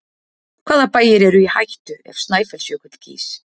Hvaða bæir eru í hættu ef Snæfellsjökull gýs?